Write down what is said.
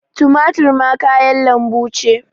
Tumatur ma kayan lanbu ce.